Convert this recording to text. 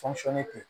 tɛ